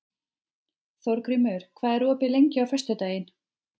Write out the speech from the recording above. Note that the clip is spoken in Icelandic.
Þórgrímur, hvað er opið lengi á föstudaginn?